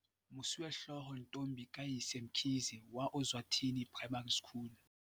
Mosuwehlooho Ntombi kayise Mkhize wa Ozwathi ni Primary School